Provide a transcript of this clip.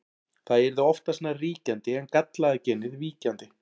Það yrði oftast nær ríkjandi en gallaða genið víkjandi.